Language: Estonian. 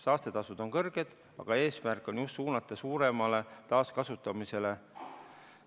Saastetasud on kõrged, aga eesmärk on just suunata suuremale taaskasutamisele.